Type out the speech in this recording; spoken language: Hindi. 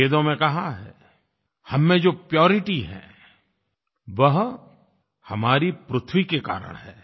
वेदों में कहा गया है कि हम में जो प्यूरिटी है वह हमारी पृथ्वी के कारण है